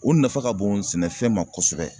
O nafa ka bon sɛnɛfɛn ma kosɛbɛ.